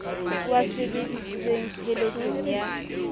o a sebedisitseng pheletsong ya